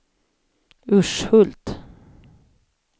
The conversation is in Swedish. Urshult